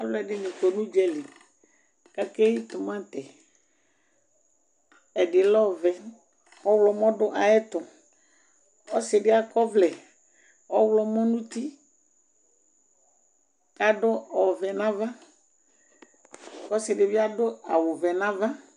Aluɛdini kɔ nu udzali akeyi timati ɛdi lɛ ɔvɛ ɔɣlomɔ du ayɛtu ɔsidi akɔ ɔvlɛ ɔɣlomɔ nu uti adu ɔvɛ nava ɔsidibi adu awu wɛ nava